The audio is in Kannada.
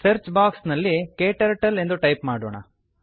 ಸರ್ಚ್ ಬಾರ್ ನಲ್ಲಿ ಕ್ಟರ್ಟಲ್ ಎಂದು ಟೈಪ್ ಮಾಡೋಣ